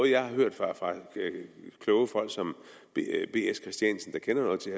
jeg har hørt kloge folk som bs christiansen der kender noget til